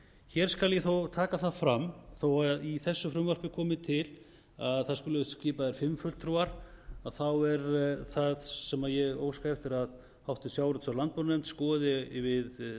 hér skal ég þó taka það fram að þó að í þessu frumvarpi komi til að það skuli vera skipaðir fimm fulltrúar er það sem ég óska eftir að háttvirtur sjávarútvegs og landbúnaðarnefnd skoði við